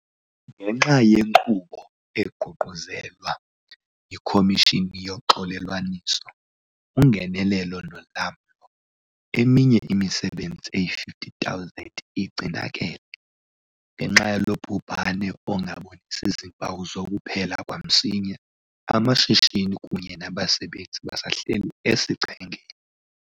Ngenxa yenkqubo eququzelwa yiKhomishini yoXolelwaniso, uNgenelelo noLamlo, eminye imisebenzi eyi-58 000 igcinakele. Ngenxa yalo bhubhane ongabonisi zimpawu zokuphela kwamsinya, amashishini kunye nabasebenzi basahleli esichengeni.